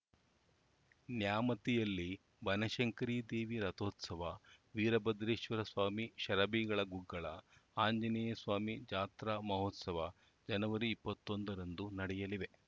ನ್ಯಾಮತಿಯಲ್ಲಿ ಬನಶಂಕರಿ ದೇವಿ ರಥೋತ್ಸವ ವೀರಭದ್ರೇಶ್ವರ ಸ್ವಾಮಿ ಷರಭೀ ಗುಗ್ಗಳ ಆಂಜನೇಯಸ್ವಾಮಿ ಜಾತ್ರಾ ಮಹೋತ್ಸವ ಜನವರಿ ಇಪ್ಪತ್ತೊಂದರಂದು ನಡೆಯಲಿವೆ